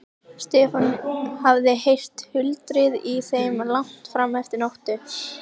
Stefán hafði heyrt tuldrið í þeim langt fram eftir nóttu.